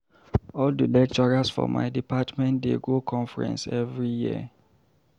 All di lecturers for my department dey go conference every year.